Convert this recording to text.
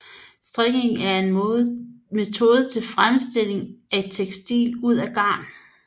Strikning er en metode til fremstilling af tekstil ud fra garn